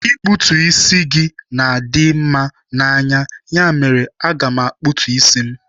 Ikputu isi gị na-adị mma n'anya, ya mere, aga m akputu isi m